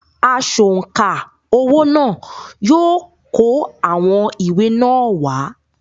“ Asọ̀ǹkà owó” náà yóò kó àwọn ìwé náà wá.